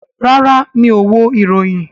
Rárá, mi ò wo ìròyìn